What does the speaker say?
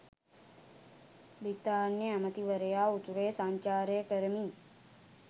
බ්‍රිතාන්‍ය අගමැතිවරයා උතුරේ සංචාරය කරමින්